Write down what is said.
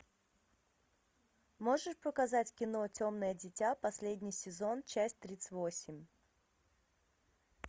можешь показать кино темное дитя последний сезон часть тридцать восемь